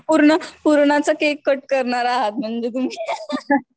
पूर्ण पुरणाचा cake cut करणार आहेत म्हणजे तुम्ही